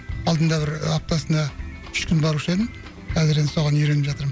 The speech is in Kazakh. алдында бір аптасына үш күн барушы едім қазір енді соған үйреніп жатырмын